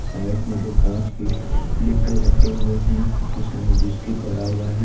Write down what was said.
Side में दो कांच के डब्बे रखे हुए हैं उसमें बिस्किट भरा हुआ है।